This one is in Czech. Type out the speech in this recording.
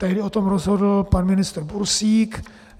Tehdy o tom rozhodl pan ministr Bursík.